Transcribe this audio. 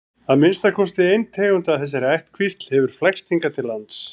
að minnsta kosti ein tegund af þessari ættkvísl hefur flækst hingað til lands